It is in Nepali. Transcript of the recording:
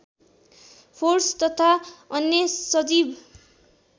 फोर्स तथा अन्य सजीव